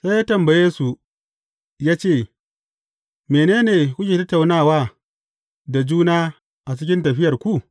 Sai ya tambaye, su ya ce, Mene ne kuke tattaunawa da juna a cikin tafiyarku?